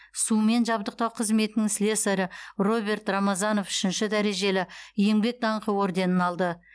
сумен жабдықтау қызметінің слесарі роберт рамазанов үшінші дәрежелі еңбек даңқы орденін алды